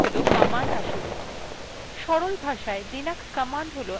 এখন প্রথম প্রশ্ন হল commands আসলে কি